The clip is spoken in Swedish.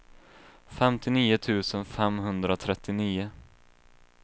femtionio tusen femhundratrettionio